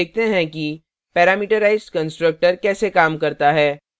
अब देखते हैं कि parametrized constructor कैसे काम करता है